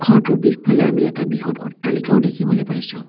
ঘৰটোৰ পিছফালে আমি এটা বৃহৎ অট্টালিকাও দেখিবলে পাইছোঁ।